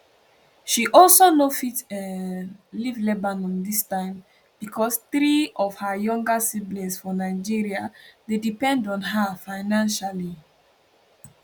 she also no fit um leave lebanon dis time becos three of her younger siblings for nigeria dey depend on her financially